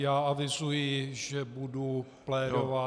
Já avizuji, že budu plédovat -